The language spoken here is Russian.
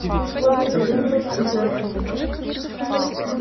господи вырвалось у джорджа